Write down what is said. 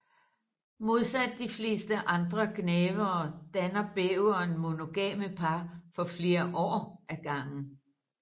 Modsat de fleste andre gnavere danner bæveren monogame par for flere år ad gangen